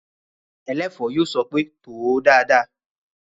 Ẹlẹ́ẹ̀fọ́ yóò sọ pé "tò ó dáadáa!"